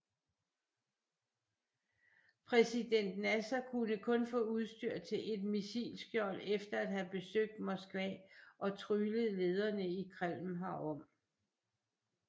Præsident Nasser kunne kun få udstyr til et missilskjold efter at have besøgt Moskva og tryglet lederne i Kreml herom